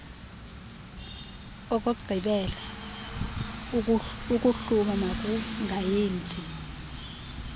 okokugqibela ukuhluma makungayenzi